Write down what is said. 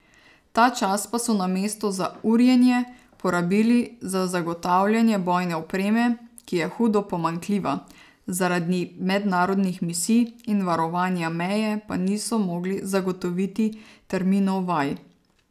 Ta čas pa so namesto za urjenje porabili za zagotavljanje bojne opreme, ki je hudo pomanjkljiva, zaradi mednarodnih misij in varovanja meje pa niso mogli zagotoviti terminov vaj.